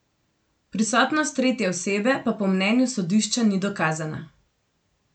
Prisotnost tretje osebe pa po mnenju sodišča ni dokazana.